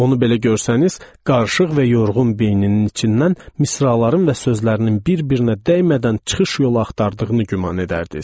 Onu belə görsəniz, qarışıq və yorğun beyninin içindən misraların və sözlərinin bir-birinə dəymədən çıxış yolu axtardığını güman edərdiniz.